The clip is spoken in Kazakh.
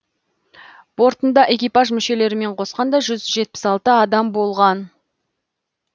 бортында экипаж мүшелерімен қосқанда жүз жетпіс алты адам болған